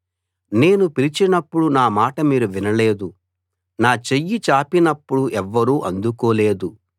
నేను పిలిచినప్పుడు నా మాట మీరు వినలేదు నా చెయ్యి చాపినప్పుడు ఎవ్వరూ అందుకోలేదు